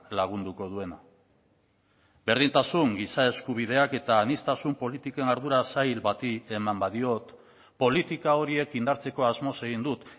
lagunduko duena berdintasun giza eskubideak eta aniztasun politiken ardura sail bati eman badiot politika horiek indartzeko asmoz egin dut